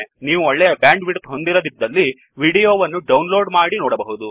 ನೀವು ಒಳ್ಳೆಯ ಬ್ಯಾಂಡ್ವಿಿಡ್ತ್ ಹೊಂದಿರದಿದ್ದಲ್ಲಿ ವಿಡಿಯೋ ವನ್ನು ಡೌನ್ಲೋaಡ್ ಮಾಡಿ ನೋಡಬಹುದು